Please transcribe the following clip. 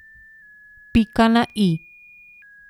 Pika na i!